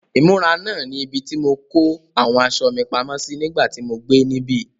Ìmúra náà ni ibi tí mo kó àwọn aṣọ mi pamọ́ sí nígbà tí mo gbé níbí.